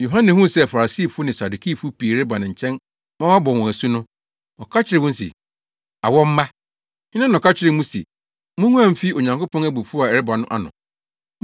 Yohane huu sɛ Farisifo ne Sadukifo pii reba ne nkyɛn ma wabɔ wɔn asu no, ɔka kyerɛɛ wɔn se, “Awɔ mma! Hena na ɔka kyerɛɛ mo se munguan mfi Onyankopɔn abufuw a ɛreba no ano?